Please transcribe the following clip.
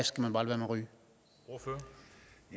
skal man bare lade